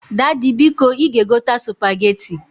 Dady, biko i ga egota Supageti.